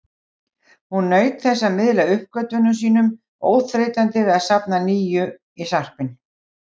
Hún naut þess að miðla uppgötvunum sínum, óþreytandi við að safna nýjum í sarpinn.